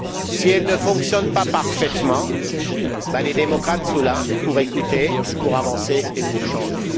Si elle ne fonctionne pas parfaitement, les démocrates sont là pour écouter, pour avancer et pour changer.